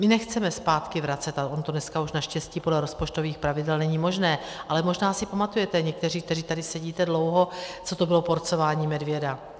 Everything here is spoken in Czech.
My nechceme zpátky vracet - ale ono to dneska už naštěstí podle rozpočtových pravidel není možné, ale možná si pamatujete někteří, kteří tady sedíte dlouho, co to bylo porcování medvěda.